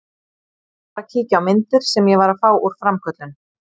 Ég var að kíkja á myndir sem ég var að fá úr framköllun.